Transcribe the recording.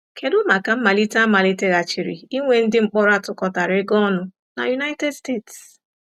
Kedụ maka mmalite a maliteghachiri inwe ndị mkpọrọ a tụkọtara ịga ọnụ na United States?